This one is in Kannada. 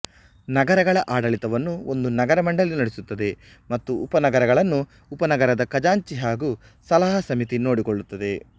ನಗರಗಳ ಆಡಳಿತವನ್ನು ಒಂದು ನಗರ ಮಂಡಳಿ ನಡೆಸುತ್ತದೆ ಮತ್ತು ಉಪನಗರಗಳನ್ನು ಉಪನಗರದ ಖಜಾಂಚಿ ಹಾಗೂ ಸಲಹಾ ಸಮಿತಿ ನೋಡಿಕೊಳ್ಳುತ್ತದೆ